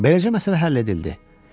Beləcə məsələ həll edildi.